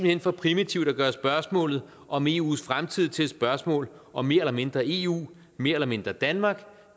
hen for primitivt at gøre spørgsmålet om eus fremtid til et spørgsmål om mere eller mindre eu mere eller mindre danmark